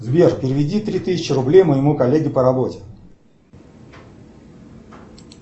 сбер переведи три тысячи рублей моему коллеге по работе